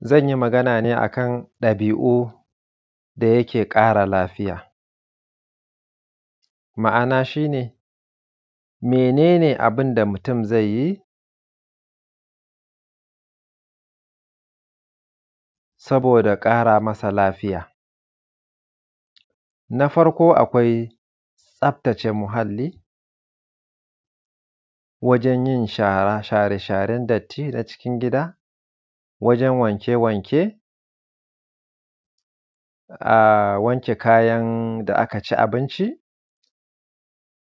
Zan yi Magana ne akan ɗabi’u da yake ƙara lafiya. Ma’ana shi ne, mene ne abin da mutum zai yi saboda ƙara masa lafiya? Na farko akwai tsaftace muhalli wajen yin shara share-sharen datti na cikin gida, wajen yin wanke-wanke, ah wanke kayan da aka ci abinci,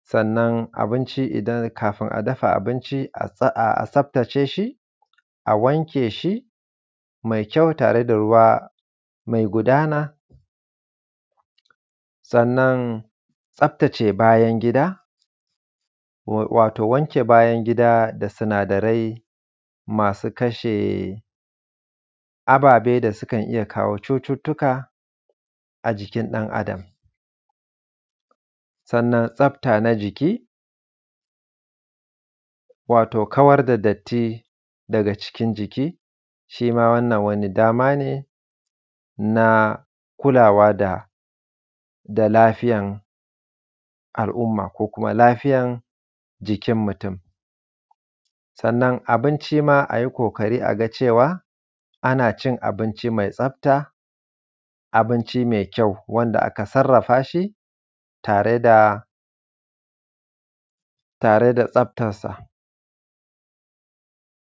sannan abinci idan kafin a dafa abinci a tsaftace shi, a wanke shi mai kyau tare da ruwa mai gudana. Sannan tsaftace bayan gida, wato wanke bayan gida da sinadarai masu kashe ababe da sukan iya kawo cututtuka a jikin ɗan-adam. Sannan tsafta na jiki, wato kawar da datti daga cikin jiki, shima wannan wani dama ne na kulawa da, da lafiyan al’umma ko kuma lafiyan jikin mutum. Sannan abinci ma a yi ƙoƙari a ga cewa, ana cin abinci mai tsafta, abinci mai kyau wanda aka sarrafa shi tare da, tare da tsaftan sa.